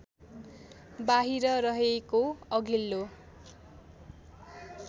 बाहिर रहेको अघिल्लो